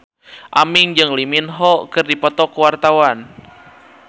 Aming jeung Lee Min Ho keur dipoto ku wartawan